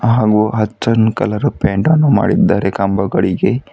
ಹಾಗು ಅಚ್ಚನ್ ಕಲರ್ ಪೈಂಟನ್ನು ಮಾಡಿದ್ದಾರೆ ಕಂಬಗಳಿಗೆ.